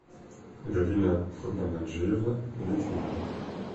галина курбангаджиевна литвинова